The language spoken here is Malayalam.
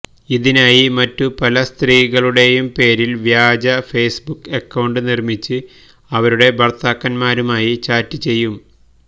ഇതിനായി മറ്റു പല സ്ത്രീകളുടെയും പേരില് വ്യാജ ഫേസ്ബുക്ക് അക്കൌണ്ട് നിര്മ്മിച്ച് അവരുടെ ഭര്ത്താക്കന്മാരുമായി ചാറ്റ് ചെയ്യും